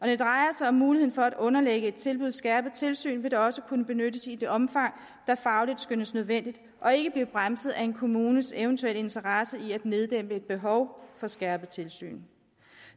det drejer sig om muligheden for at underlægge et tilbud skærpet tilsyn vil det også kunne benyttes i det omfang det fagligt skønnes nødvendigt og ikke blive bremset af en kommunes eventuelle interesse i at neddæmpe et behov for skærpet tilsyn